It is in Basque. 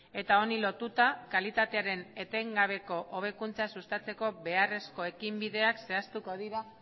eta honi lotuta kalitatearen etengabeko hobekuntza sustatzeko beharrezko ekinbideak zehaztuko dira